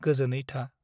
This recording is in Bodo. गोजोनै था ।